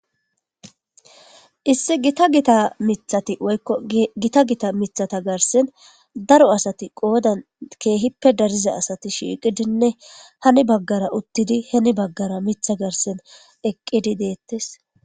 Issi gita gita miththati woykko gita gita miththata garsen daro asati qoodan keehippe dariza asati shiiqidinne hani baggara uttidi heni baggara miththa garsen eqqidi deetees.